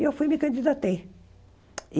E eu fui e me candidatei.